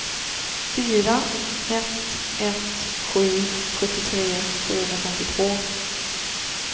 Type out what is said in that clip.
fyra ett ett sju sjuttiotre sjuhundrafemtiotvå